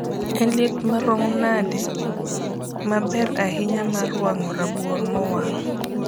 en liet marom nsde ma ber ahinya mar wango rabuon mowang